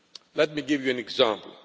Let me give you an example.